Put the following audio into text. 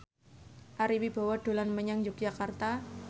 Ari Wibowo dolan menyang Yogyakarta